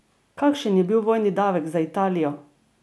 Kakšen je bil vojni davek za Italijo?